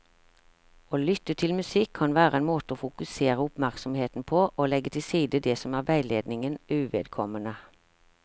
Å lytte til musikk kan være en måte å fokusere oppmerksomheten på og legge til side det som er veiledningen uvedkommende.